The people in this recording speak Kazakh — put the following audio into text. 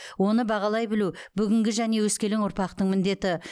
оны бағалай білу бүгінгі және өскелең ұрпақтың міндеті